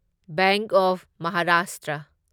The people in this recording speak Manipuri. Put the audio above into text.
bank of Maharashtra